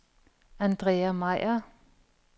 Andrea Meyer